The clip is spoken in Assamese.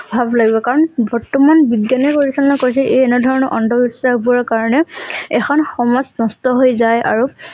ভাৱ লাগিব কাৰণ বৰ্তমান বিজ্ঞানে পৰিচালনা কৰিছে এই এনে ধৰণৰ অন্ধ বিশ্বাস বোৰৰ কাৰণে এখন সমাজ নষ্ট হৈ যায় আৰু